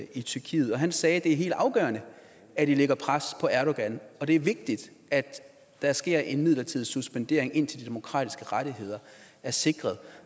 i tyrkiet og han sagde at det er helt afgørende at vi lægger pres på erdogan og at det er vigtigt at der sker en midlertidig suspendering indtil de demokratiske rettigheder er sikret